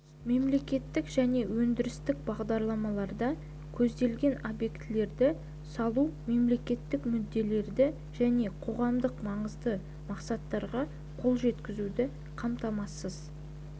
мемлекеттік және өңірлік бағдарламаларда көзделген объектілерді салу мемлекеттік мүдделерді және қоғамдық маңызды мақсаттарға қол жеткізуді қамтамасыз